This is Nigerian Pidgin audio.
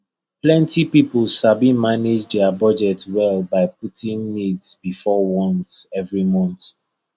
plenty people sabi manage their budget well by putting needs before wants every month